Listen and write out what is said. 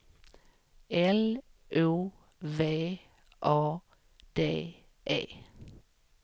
L O V A D E